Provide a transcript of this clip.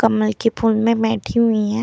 कमल के फुल में बैठी हुई है।